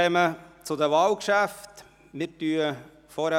Wir kommen zu den Wahlgeschäften.